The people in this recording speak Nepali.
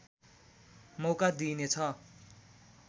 मौका दिइनेछ